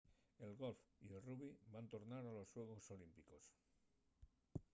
el golf y el rugbi van tornar a los xuegos olímpicos